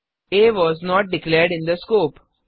uh was not declared in the scope